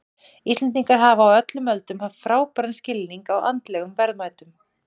Íslendingar hafa á öllum öldum haft frábæran skilning á andlegum verðmætum.